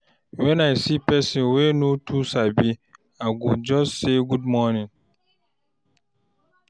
When I see person wey I no too sabi, I go just say "Good morning."